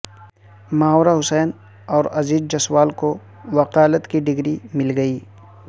ماورا حسین اور عزیر جسوال کو وکالت کی ڈگری مل گئی